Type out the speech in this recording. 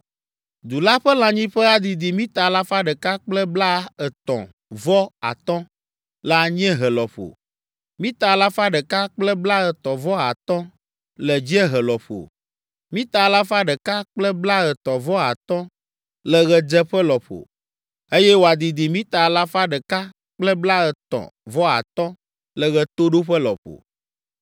Du la ƒe lãnyiƒe adidi mita alafa ɖeka kple blaetɔ̃ vɔ atɔ̃ (135) le anyiehe lɔƒo, mita alafa ɖeka kple blaetɔ̃ vɔ atɔ̃ (135) le dziehe lɔƒo, mita alafa ɖeka kple blaetɔ̃ vɔ atɔ̃ (135) le ɣedzeƒe lɔƒo, eye wòadidi mita alafa ɖeka kple blaetɔ̃ vɔ atɔ̃ (135) le ɣetoɖoƒe lɔƒo.